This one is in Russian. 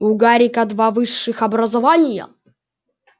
у гарика два высших образования